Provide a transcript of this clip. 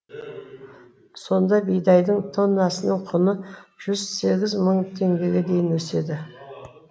сонда бидайдың тоннасының құны жүз сегіз мың теңгеге дейін өседі